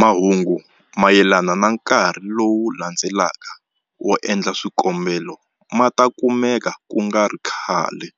Mahungu mayelana na nkarhi lowu landzelaka wo endla swikombelo ma ta kumeka ku nga ri khale